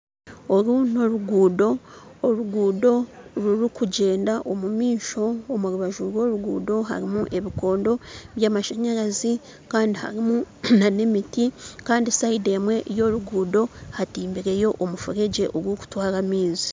Oru n'oruguudo oruguudo rurikugyenda omumaisho omu rubanju rw'oruguudo harimu ebikondo by'amashanyarazi kandi harimu n'emiti kandi sayidi emwe y'oruguudo hatimbireyo omufuregye ogurikutwara amaizi